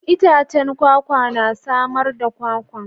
Itacen kwakwa na samar da kwakwa.